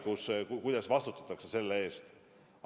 Kuidas selle eest vastutatakse?